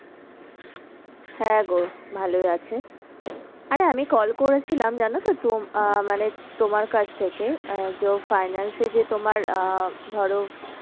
হ্যাঁ গো ভালোই আছে। আরে আমি call করেছিলাম জানতো তো আহ মানে তোমার কাছ থেকে আহ যে ও finance এ যে তোমার আহ ধরো,